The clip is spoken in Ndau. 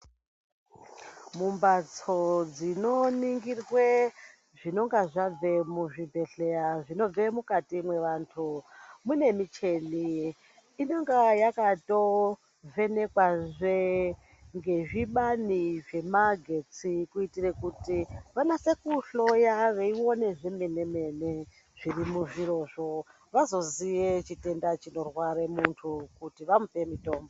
Mu mbatso dzino ningirwe zvinonga zvabve mu zvibhedhleya zvinobve mukati mwe vantu mune mucheni inenga yakato vhenekwa zve nge zvibani zve magetsi ku itire kuti vanase ku hloya vei one zvemene zviri muzviro zvo vazo ziye chitenda chino rware mu muntu kuti vamupe mutombo.